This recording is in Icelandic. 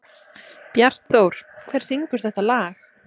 Bjartþór, hver syngur þetta lag?